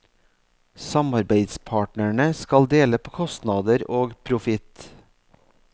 Samarbeidspartnerne skal dele på kostnader og profitt.